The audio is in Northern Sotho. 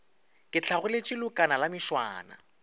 ke hlagoletše leokana la mešwana